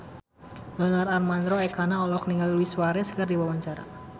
Donar Armando Ekana olohok ningali Luis Suarez keur diwawancara